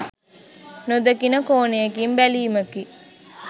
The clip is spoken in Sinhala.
නොදකින කෝණයකින් බැලීමකි.